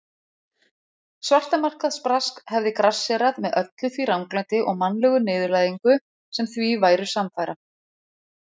Svartamarkaðsbrask hefði grassérað með öllu því ranglæti og mannlegu niðurlægingu sem því væru samfara.